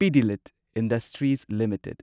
Pidilite industries limited